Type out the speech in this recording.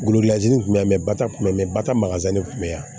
Golozi in kun bɛ yan mɛ ba ta kun bɛ mɛ bata makasa de kun bɛ yan